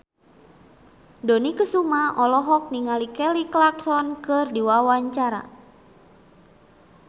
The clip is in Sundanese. Dony Kesuma olohok ningali Kelly Clarkson keur diwawancara